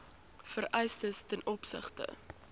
vereistes ten opsigte